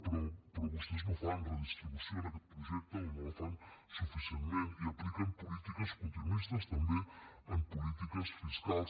però vostès no fan redistribució en aquest projecte o no la fan suficientment i apliquen polítiques continuistes també en polítiques fiscals